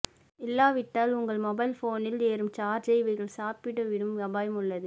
இல்லாவிட்டால் உங்கள் மொபைல் போனில் ஏறும் சார்ஜை இவைகள் சாப்பிட்டுவிடும் அபாயம் உள்ளது